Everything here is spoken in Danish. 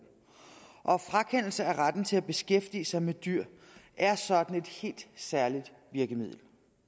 og frakendelse af retten til at beskæftige sig med dyr er sådan et helt særligt virkemiddel